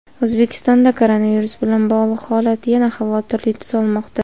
O‘zbekistonda koronavirus bilan bog‘liq holat yana xavotirli tus olmoqda.